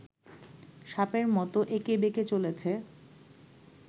সাপের মতো এঁকে বেঁকে চলেছে